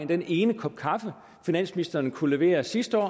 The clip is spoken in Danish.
den ene kop kaffe finansministeren kunne levere sidste år